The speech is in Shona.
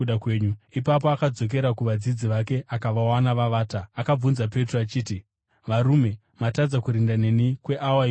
Ipapo akadzokera kuvadzidzi vake akavawana vavata. Akabvunza Petro achiti, “Varume, matadza kurinda neni kweawa imwe chete?